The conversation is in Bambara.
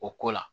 O ko la